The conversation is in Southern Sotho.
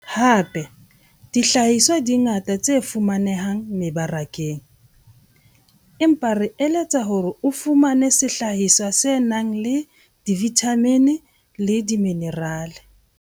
Hape, dihlahiswa di ngata tse fumanehang mebarakeng, empa re eletsa hore o fumane sehlahiswa se nang le divithamine le diminerale.